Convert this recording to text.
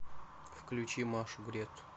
включи машу гретт